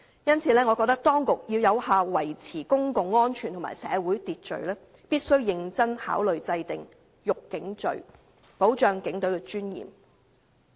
因此，我認為當局如要有效維持公共安全和社會秩序，必須認真考慮制訂"辱警罪"，維護警隊的尊嚴。